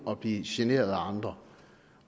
at blive generet af andre